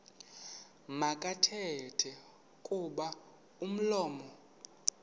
makathethe kuba umlomo